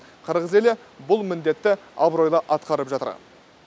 қырғыз елі бұл міндетті абыройлы атқарып жатыр